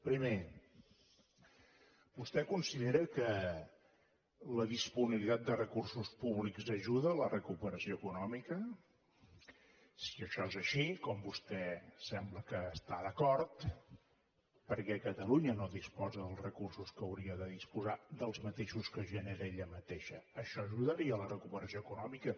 primer vostè considera que la disponibilitat de recursos públics ajuda a la recuperació econòmica així com vostè sembla que hi està d’acord per què catalunya no disposa dels recursos que hauria de disposar dels mateixos que genera ella mateixa això ajudaria a la recuperació econòmica